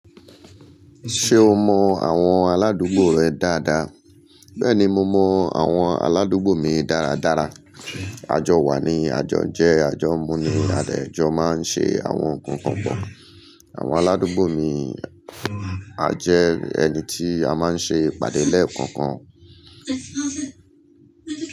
Ṣé o mọ àwọn aládùúgbò rẹ dáadáa? Bẹ́ẹ̀ni, mo mọ àwọn aládùúgbò mi dáradára. Àjọ wa ni àjọ jẹ́ àjọ múni adẹ̀jọ máa ń ṣe àwọn nǹkan kan. Àwọn aládùúgbò mi jẹ́ ẹni tí a máa ń ṣe ìpàdé lẹ́ẹ̀kọ̀ọ̀kan.